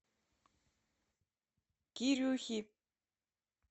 кирюхи